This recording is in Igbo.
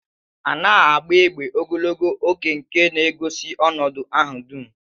A na-agba egbe ogologo oge nke na-egosi ọnọdụ ahụ dum.